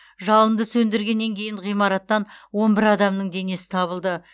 жалынды сөндіргеннен кейін ғимараттан он бір адамның денесі табылды